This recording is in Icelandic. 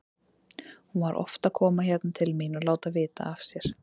Hún var oft að koma hérna til mín og láta vita af sér.